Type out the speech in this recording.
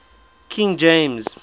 king james